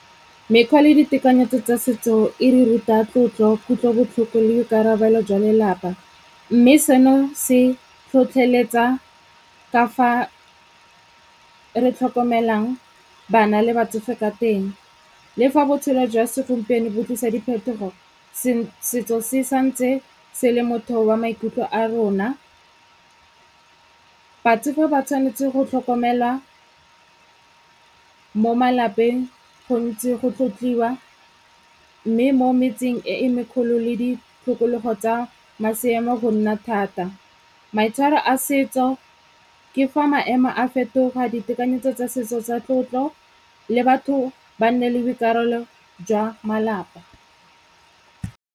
Mekgwa le ditekanyetso tsa setso e re ruta tlotlo, kutlobotlhoko le boikarabelo jwa lelapa. Mme seno se tlhotlheletsa ka fa re tlhokomelang bana le batsofe ka teng. Le fa botshelo jwa segompieno bo tlisa diphetogo, setso se santse se le motheo wa maikutlo a rona. Botsofe ba tshwanetse go tlhokomelwa mo malapeng gontsi, go tlotliwa mme mo metseng e e mekgolo le ditokologo tsa go nna thata. Maitshwaro a setso ke fa maemo a fetoga ditekanyetso tsa setso tsa tlotlo le batho ba nne le boikarabelo jwa malapa.